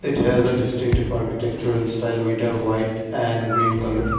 it has a distinctive artitectural style with a white and green colour.